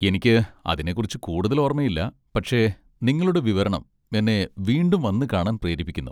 എനിക്ക് അതിനെക്കുറിച്ച് കൂടുതൽ ഓർമ്മയില്ല, പക്ഷേ നിങ്ങളുടെ വിവരണം എന്നെ വീണ്ടും വന്നുകാണാൻ പ്രേരിപ്പിക്കുന്നു.